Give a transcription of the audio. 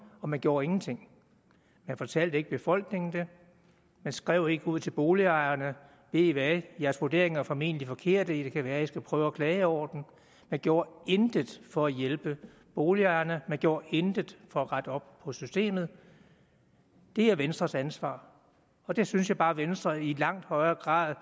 og man gjorde ingenting man fortalte ikke befolkningen man skrev ikke ud til boligejerne ved i hvad jeres vurderinger er formentlig forkerte det kan være i skal prøve at klage over dem man gjorde intet for at hjælpe boligejerne man gjorde intet for at rette op på systemet det er venstres ansvar og det synes jeg bare at venstre i langt højere grad